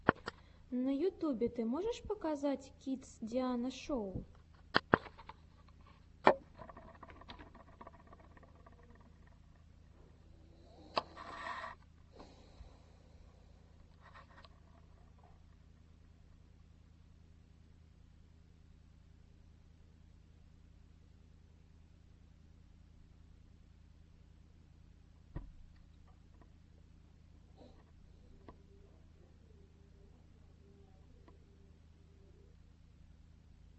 на ютюбе ты можешь показать кидс диана шоу